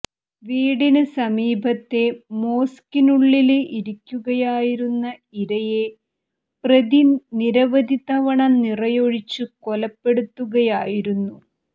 വീടിന് സമീപത്തെ മോസ്കിനുള്ളില് ഇരിക്കുകയായിരുന്ന ഇരയെ പ്രതി നിരവധി തവണ നിറയൊഴിച്ച് കൊലപ്പെടുത്തുകയായിരുന്നു